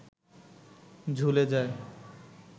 ঝুলে যায়